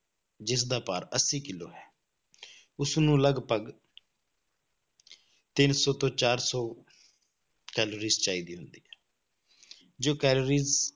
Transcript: ਜਿਸਦਾ ਭਾਰ ਅੱਸੀ ਕਿੱਲੋ ਹੈ ਉਸਨੂੰ ਲਗਪਗ ਤਿੰਨ ਸੌ ਤੋਂ ਚਾਰ ਸੌ ਕੈਲੋਰੀਜ਼ ਚਾਹੀਦੀ ਹੁੰਦੀ ਹੈ ਜੋ ਕੈਲੋਰੀਜ਼